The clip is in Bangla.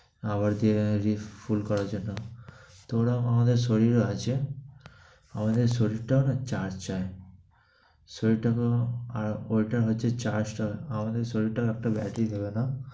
আবার যে যে ফুল করার জন্য। তে রকম আমাদের শরীরও আছে, আমাদের শরীরটা না charge যায়। শরীরটাকেও আর ওটা হচ্ছে charge টা আমাদের শরীরটা একটা battery ভেবে নাও।